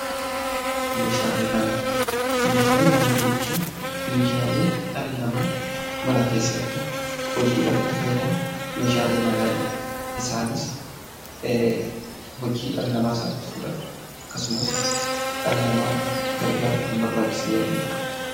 Meeshaalee manaa jechuun meeshaalee dhalli namaa mana keessatti hojiidhaaf itti fayyadamu meeshaalee manaa jenna. Isaanis hojii dhala namaa salphisuudhaaf akkasumas dhala namaa gargaaruuf kan barbaachisan yommuu ta'an,